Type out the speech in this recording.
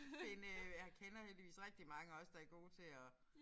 Finde øh jeg kender heldigvis rigtig mange også der gode til at